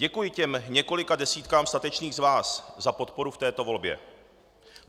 Děkuji těm několika desítkám statečných z vás za podporu v této volbě.